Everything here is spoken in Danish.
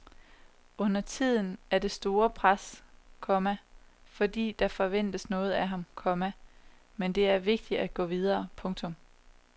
Undertiden er det et stort pres, komma fordi der forventes noget af ham, komma men det er vigtigt at gå videre. punktum